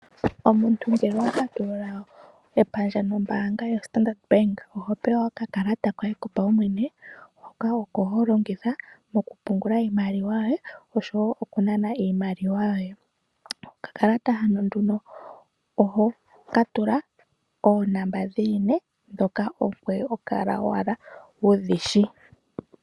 Omuntu ngele owapatulula epandja nombanga ya Standard Bank ohopewa oka kalata koye kopawumwene , hoka oko holongitha mokupungula iimaliwa yoye oshowo okuna iimaliwa yoye, oka kalata hano nduno ohokatula oonamba dhili nee dhoka ongweye hokala wudhishi.